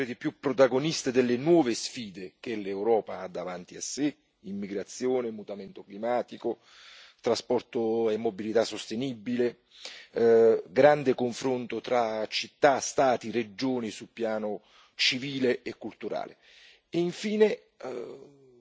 Portare le macroregioni a essere sempre di più protagoniste delle nuove sfide che l'Europa ha davanti a sé immigrazione, mutamento climatico, trasporto e mobilità sostenibile, grande confronto tra città, Stati e regioni sul piano civile e culturale.